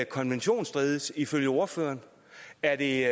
konventionsstridigt ifølge ordføreren er det